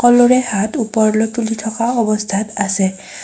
সকলোৰে হাত ওপৰলৈ তুলি থকা অৱস্থাত আছে।